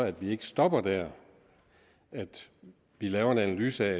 at vi ikke stopper der men at vi laver en analyse af